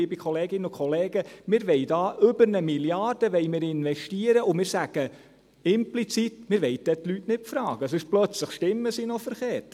Liebe Kolleginnen und Kollegen, wir wollen da über 1 Mrd. Franken investieren, und wir sagen implizit: Wir wollen die Leute dann nicht fragen, sonst stimmen sie dann verkehrt.